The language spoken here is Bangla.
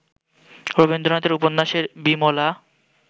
রবীন্দ্রনাথের উপন্যাসের বিমলা